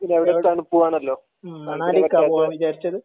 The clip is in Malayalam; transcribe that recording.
പിന്നെ അവിടെ തണുപ്പും ആണല്ലോ